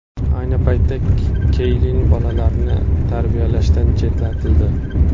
Ayni paytda Keylin bolalarni tarbiyalashdan chetlatildi.